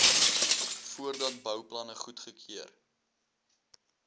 voordat bouplanne goedgekeur